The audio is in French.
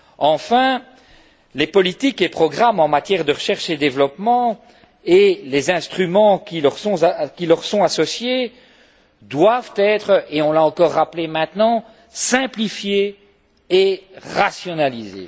Enfin, les politiques et programmes en matière de recherche et développement et les instruments qui leur sont associés doivent être et on l'a encore rappelé maintenant simplifiés et rationnalisés.